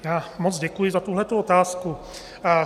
Já moc děkuji za tuhletu otázku.